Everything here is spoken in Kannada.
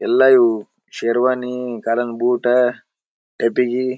ಎಲ್ಲ ಇವು ಶರ್ವಾನಿ ಕಾಲಿನ್ ಬೂಟಾ ಪೆಟ್ಟಿಗಿ--